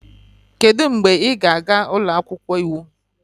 Kedu mgbe ị ga-aga ụlọ akwụkwọ iwu?